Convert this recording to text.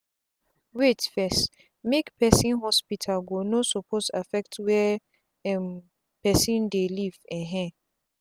wait fess-make person hospital go no suppose affect where um person dey live. um